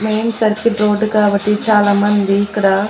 Main circle road కాబట్టి చాలామంది ఇక్కడ.